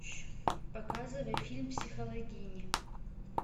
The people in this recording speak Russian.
показывай фильм психологини